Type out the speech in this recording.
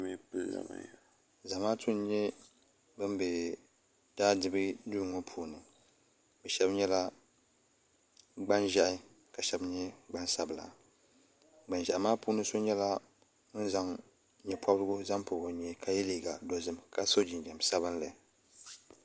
Zamaatu n nyɛ ban be daadibu duu ŋɔ puuni sheba nyɛla gban'ʒehi ka sheba nyɛ gbansabla gban'ʒehi maa puuni Sheba nyɛla bin zaŋ nyɛpobrigu zaŋ pobi o nyee ka ye liiga dozim ka so jinjiɛm sabinli.